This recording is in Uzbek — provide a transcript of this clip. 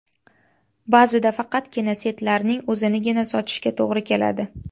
Ba’zida faqatgina setlarning o‘zinigina sotishga to‘g‘ri keladi.